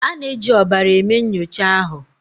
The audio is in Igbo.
A na-eji ọbara eme nyocha ahụ.